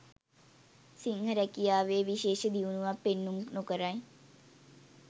සිංහ රැකියාවේ විශේෂ දියුණුවක් පෙන්නුම් නොකරයි.